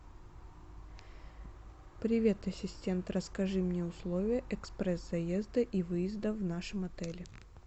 привет ассистент расскажи мне условия экспресс заезда и выезда в нашем отеле